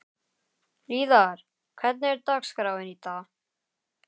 Hlíðar, hvernig er dagskráin í dag?